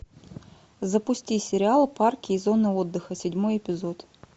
запусти сериал парки и зоны отдыха седьмой эпизод